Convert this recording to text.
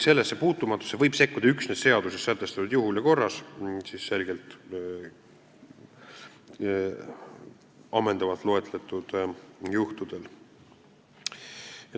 Sellesse puutumatusesse võib sekkuda üksnes seaduses sätestatud juhul ja korras, ammendavalt loetletud juhtudel.